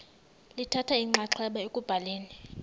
lithatha inxaxheba ekubhaleni